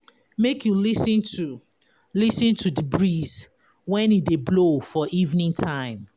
Make you lis ten to lis ten to di breeze when e dey blow for evening time.